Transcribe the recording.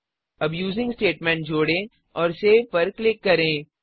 अब using statement जोड़ें और सेव पर क्लिक करें